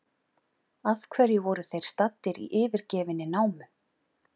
Af hverju voru þeir staddir í yfirgefinni námu?